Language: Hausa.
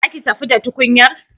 Za ki tafi da tukunyar?